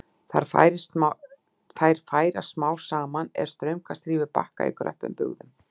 Þær færast smám saman er straumkast rýfur bakka í kröppum bugðum.